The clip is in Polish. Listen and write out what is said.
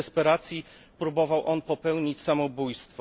W desperacji próbował popełnić samobójstwo.